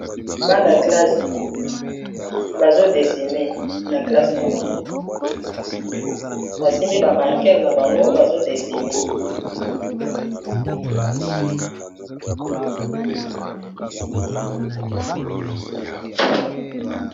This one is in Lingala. bana kelasse bazodesine na Classe na bango basimbi bamarqele na bango bazodesine